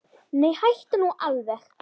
Nei, hættu nú alveg!